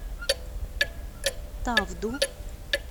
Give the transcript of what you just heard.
тавду